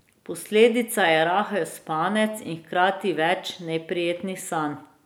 Posledica je rahel spanec in hkrati več neprijetnih sanj.